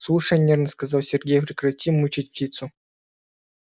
слушай нервно сказал сергей прекрати мучить птицу